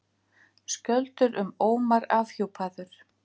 Skjöldur um Ómar afhjúpaður